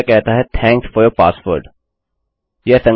यह कहता है थैंक्स फोर यूर passwordआपके पासवर्ड के लिए धन्यवाद